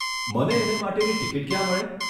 મને એને માટેની ટીકીટ ક્યાં મળે?